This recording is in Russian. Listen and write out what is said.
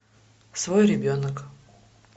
свой ребенок